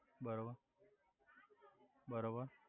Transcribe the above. બરોબર બરોબર